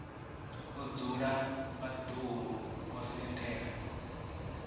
o dzula vhaḓuhulu vho sendela